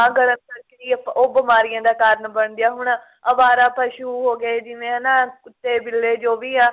ਨਾ ਗਲਣ ਕਰਕੇ ਉਹ ਬਿਮਾਰੀਆਂ ਦਾ ਕਾਰਣ ਬਣਦੀ ਏ ਹੁਣ ਅਵਾਰਾ ਪਸ਼ੂ ਹੋ ਗਏ ਜਿਵੇਂ ਹਨਾ ਕੁੱਤੇ ਬਿੱਲੇ ਜੋ ਵੀ ਆ